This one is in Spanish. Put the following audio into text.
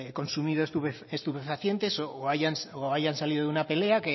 consumido estupefacientes o hayan salido de una pelea